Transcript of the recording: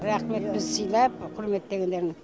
рахмет бізді сыйлап құрметтегендеріңе